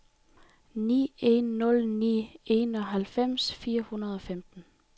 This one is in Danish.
ni en nul ni enoghalvfems fire hundrede og femten